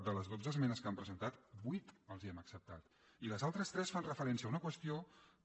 de les dotze esmenes que han presentat vuit els les hem acceptades i les altres tres fan referència a una qüestió que